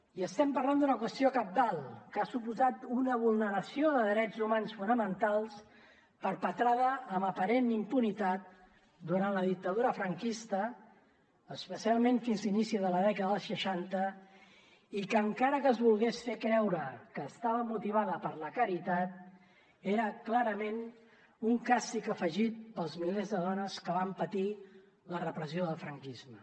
i estem parlant d’una qüestió cabdal que ha suposat una vulneració de drets humans fonamentals perpetrada amb aparent impunitat durant la dictadura franquista especialment fins a inicis de la dècada dels seixanta i que encara que es volgués fer creure que estava motivada per la caritat era clarament un càstig afegit per als milers de dones que van patir la repressió del franquisme